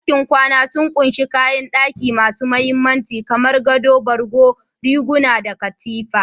Dakin kwana sun ƙunshi kayan daki masu mahimmanci, kamar gado, borgo, riguna, da Katifa.